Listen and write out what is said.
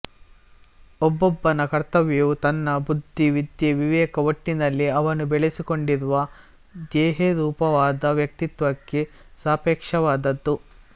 ಒಬ್ಬೊಬ್ಬನ ಕರ್ತವ್ಯವೂ ತನ್ನ ಬುದ್ಧಿ ವಿದ್ಯೆ ವಿವೇಕ ಒಟ್ಟಿನಲ್ಲಿ ಅವನು ಬೆಳೆಸಿಕೊಂಡಿರುವ ಧ್ಯೇಯರೂಪವಾದ ವ್ಯಕ್ತಿತ್ವಕ್ಕೆ ಸಾಪೇಕ್ಷವಾದದ್ದು